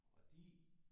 Og de